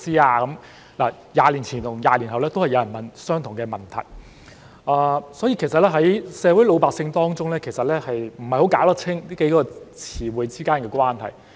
"20 年前與20年後都有人問相同的問題，所以可見老百姓不太弄得清楚這幾個詞之間的關係。